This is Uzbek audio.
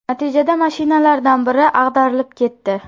Natijada mashinalardan biri ag‘darilib ketdi.